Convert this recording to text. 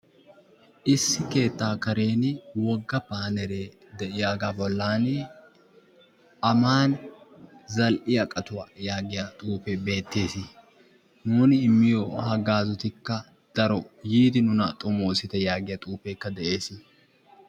issi keettaa karen woga xuufee beetees, aman zal'iya garuwa, yaagiya xuufee beetees, nuuni immiyo zal'ee daro nuna yiidi xomoosite yaagiyagaa.